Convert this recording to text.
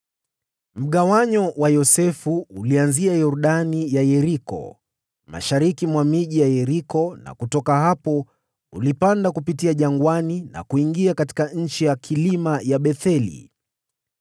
Mgawanyo wa Yosefu ulianzia Yordani ya Yeriko, mashariki mwa miji ya Yeriko na kutoka hapo ulipanda kupitia jangwani na kuingia katika nchi ya vilima ya Betheli.